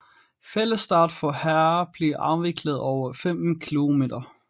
Fællesstart for herrer bliver afviklet over 15 km